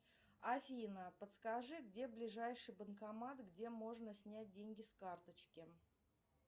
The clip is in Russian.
афина подскажи где ближайший банкомат где можно снять деньги с карточки